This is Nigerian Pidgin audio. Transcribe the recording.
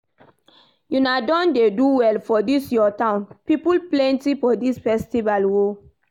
Una don dey do well for dis your town, people plenty for dis festival oo